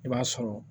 I b'a sɔrɔ